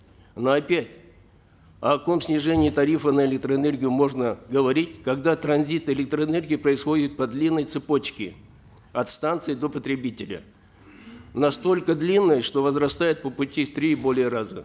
но опять о каком снижении тарифа на электроэнергию можно говорить когда транзит электроэнергии происходит по длинной цепочке от станции до потребителя настолько длинной что возрастает по пути в три и более раза